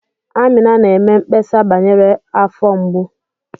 Amina na-eme mkpesa banyere afọ mgbu.